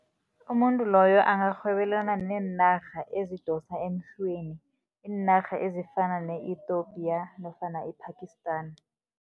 Umuntu loyo angarhwebelana neenarha ezidosa emhlweni, iinarha ezifana ne-Ethopia nofana i-Pakistan.